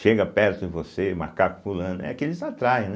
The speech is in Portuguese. Chega perto de você, macaco pulando, é que eles atraem, né?